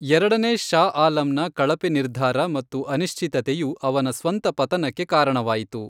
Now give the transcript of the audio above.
ಎರಡನೇ ಷಾ ಆಲಂನ ಕಳಪೆ ನಿರ್ಧಾರ ಮತ್ತು ಅನಿಶ್ಚಿತತೆಯು ಅವನ ಸ್ವಂತ ಪತನಕ್ಕೆ ಕಾರಣವಾಯಿತು.